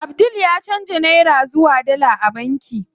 Abdul ya canza nera zuwa dala a banki.